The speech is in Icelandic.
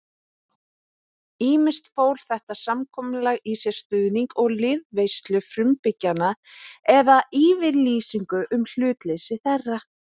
Ýmist fól þetta samkomulag í sér stuðning og liðveislu frumbyggjanna eða yfirlýsingu um hlutleysi þeirra.